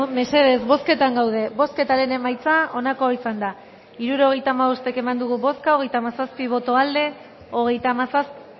mesedez bozketan gaude bozketaren emaitza onako izan da hirurogeita hamabost eman dugu bozka hogeita hamazazpi boto aldekoa hogeita hamazazpi